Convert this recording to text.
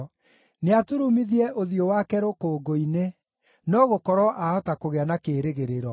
Nĩaturumithie ũthiũ wake rũkũngũ-inĩ, no gũkorwo aahota kũgĩa na kĩĩrĩgĩrĩro.